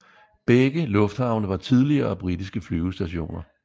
Begge lufthavne var tidligere britiske flyvestationer